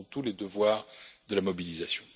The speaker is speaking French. Nous avons tous les devoirs de la mobilisation.